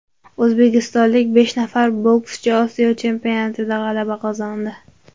O‘zbekistonlik besh nafar bokschi Osiyo chempionatida g‘alaba qozondi.